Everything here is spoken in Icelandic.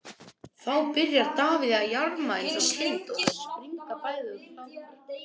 Þá byrjar Davíð að jarma eins og kind og þau springa bæði af hlátri.